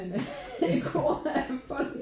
En kor af folk